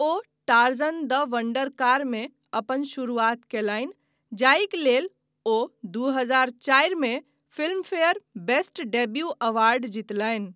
O Tarzan the wonder कारमे अपन शुरुआत कयलनि, जाहिक लेल ओ दू हजार चारिमे फिल्मफेयर बेस्ट डेब्यू अवार्ड जीतलनि।